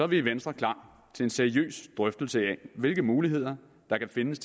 vi i venstre klar til en seriøs drøftelse af hvilke muligheder der findes